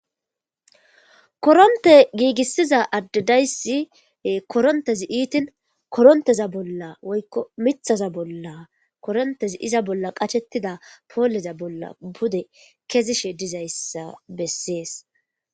Koronte giigissiza addedayssi korontezi iitin koronteza bolla woykko mithaza bolla korontezi iza bolla qachettida pooleza bolla bude kezishe dizayssa bessees.